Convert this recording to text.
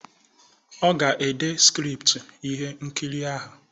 Ọ ga-ede skriptu ihe nkiri ahụ.